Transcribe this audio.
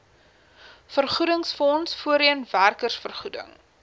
vergoedingsfonds voorheen werkersvergoeding